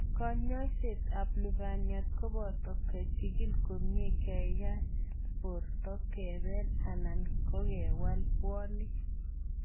kanyaishet ab lubaniat kopata kechigil komie, keyat porto, kepeel anan kogewal puonik